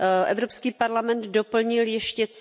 Evropský parlament doplnil ještě